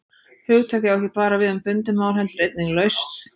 Hugtakið á ekki bara við um bundið mál heldur einnig laust.